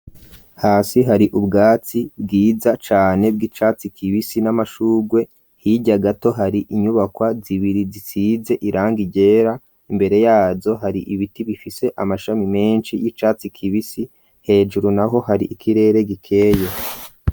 Hasi hari ubwatsi bwiza cane bw'icatsi kibisi n'amashugwe hirya gato hari inyubakwa zibiri zisize irangi ryera imbere yazo hari ibiti bifise amashami menshi y'icatsi kibisi hejuru naho hari ikirere gikeye.